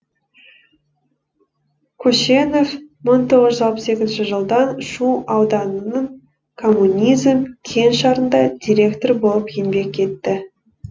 көшенов мың тоғыз жүз алпыс екінші жылдан шу ауданының коммунизм кеңшарында директор болып еңбек етті